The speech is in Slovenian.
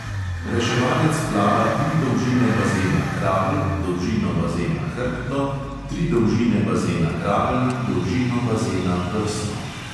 Reševalec plava tri dolžine bazena kravl, dolžino bazena hrbtno, tri dolžine bazena kravl in dolžino bazena prsno.